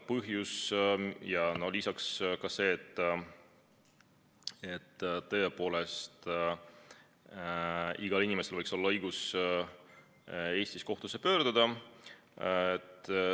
Lisaks veel see, et tõepoolest, igal inimesel võiks olla õigus Eestis kohtusse pöörduda.